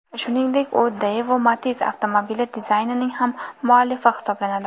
Shuningdek, u Daewoo Matiz avtomobili dizaynining ham muallifi hisoblanadi.